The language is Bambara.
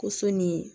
Ko so ni